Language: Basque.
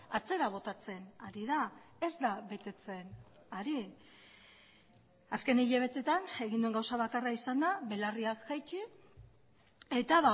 atzera botatzen ari da ez da betetzen ari azken hilabeteetan egin den gauza bakarra izan da belarriak jaitsi eta